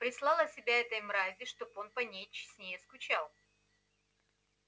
прислала себя этой мрази чтоб он по ней честнее скучал